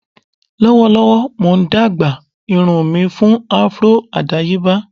Lọwọlọwọ Mo n dagba irun mi fun afro adayeba.